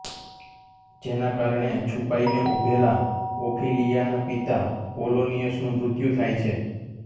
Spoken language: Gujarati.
જેના કારણે છુપાઈને ઉભેલા ઓફિલિયાાના પિતા પોલોનિયસનું મૃત્યુ થાય છે